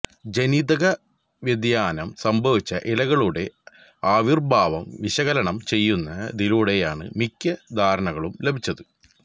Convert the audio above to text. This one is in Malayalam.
ജനിതക വ്യതിയാനം സംഭവിച്ച ഇലകളുടെ ആവിർഭാവം വിശകലനം ചെയ്യുന്നതിലൂടെയാണ് മിക്ക ധാരണകളും ലഭിച്ചത്